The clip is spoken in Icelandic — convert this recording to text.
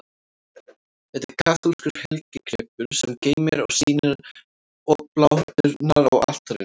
Þetta er kaþólskur helgigripur, sem geymir og sýnir obláturnar á altarinu.